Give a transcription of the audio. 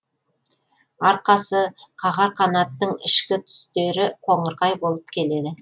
арқасы қағар қанатының ішкі түстері қоңырқай болып келеді